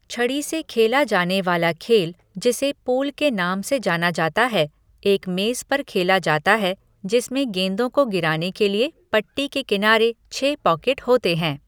छड़ी से खेला जाने वाला खेल जिसे पूल के नाम से जाना जाता है, एक मेज पर खेला जाता है जिसमें गेंदों को गिराने के लिए पट्टी के किनारे छह पॉकेट होते हैं।